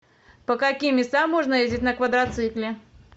по каким местам можно ездить на квадроцикле